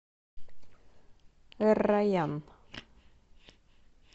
эр райян